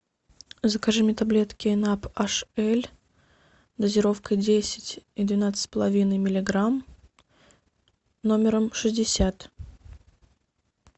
закажи мне таблетки наб аш эль дозировка десять и двенадцать с половиной миллиграмм номером шестьдесят